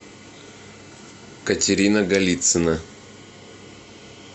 катерина голицына